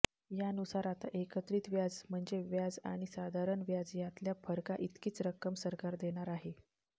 यानुसार आता एकत्रित व्याज म्हणजे व्याज आणि साधारण व्याज यातल्या फरकाइतकीच रक्कम सरकार देणार आहे